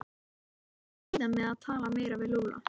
Hann yrði að bíða með að tala meira við Lúlla.